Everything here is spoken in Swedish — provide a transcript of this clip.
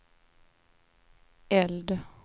eld